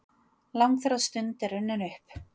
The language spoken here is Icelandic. Langþráð stund er runnin upp!